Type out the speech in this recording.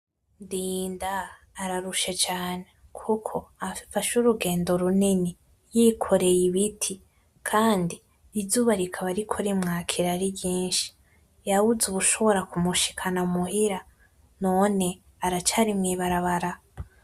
Ndinda ararushe cane kuko afashe urugendo runini yikoreye ibiti, Kandi izuba rikaba ririko kumwakira ari ryinshi, yabuze uwushobora kumushikana muhira none aracari mwibarabara!